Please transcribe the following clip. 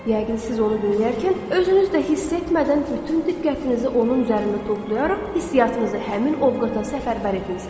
Yəqin siz onu dinləyərkən özünüz də hiss etmədən bütün diqqətinizi onun üzərində toplayaraq hissiyatınızı həmin ovqata səfərbər etmisiz.